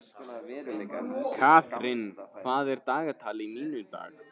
Katharina, hvað er á dagatalinu mínu í dag?